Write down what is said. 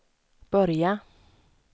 börja